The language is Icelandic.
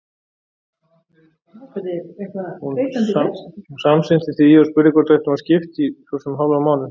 Hún samsinnti því og spurði hvort við ættum að skipta í svo sem hálfan mánuð.